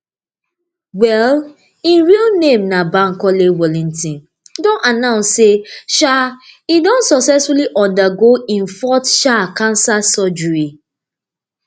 wey im real name be bankole wellington don announce say um im don successfully undergo im fourth um cancer surgery